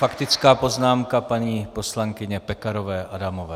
Faktická poznámka paní poslankyně Pekarové Adamové.